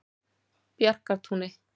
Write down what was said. Bjarkartúni